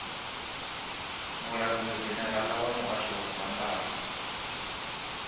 mulangulidzhenerala wa muhasho wa mbambadzo